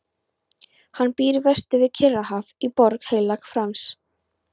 Hann býr vestur við Kyrrahaf í Borg Heilags Frans.